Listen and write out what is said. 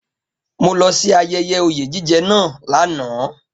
Mo lọ sí ayẹyẹ oyè jíjẹ náà lánàá